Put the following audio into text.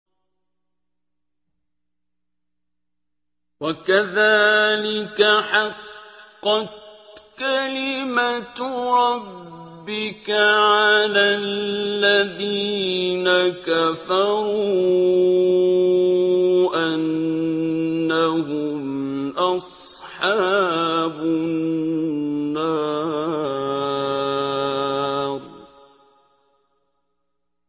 وَكَذَٰلِكَ حَقَّتْ كَلِمَتُ رَبِّكَ عَلَى الَّذِينَ كَفَرُوا أَنَّهُمْ أَصْحَابُ النَّارِ